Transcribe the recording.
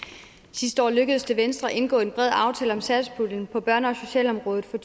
sidste år lykkedes det venstre at indgå en bred aftale om satspuljen på børne og socialområdet for